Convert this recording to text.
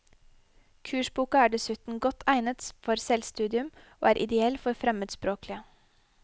Kursboka er dessuten godt egnet for selvstudium og er ideell for fremmedspråklige.